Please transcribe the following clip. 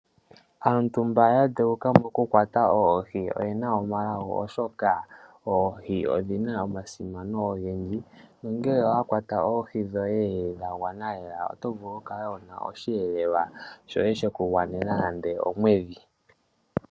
Aantu mba ya dheuka mokukwata oohi oyena omalago, oshoka oohi odhina omasimano ogendji nongele owakwata oohi dhoye dhagwana lela oto vulu okukala wuna osheelelwa shoye sheku gwanena nande omwedhi.